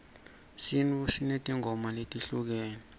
sintfu sinetimgoma letehlukene